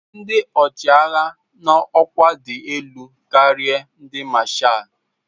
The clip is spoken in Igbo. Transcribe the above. Ndị ọchịagha nọ n'ọkwa dị elu karịa ndị mashals.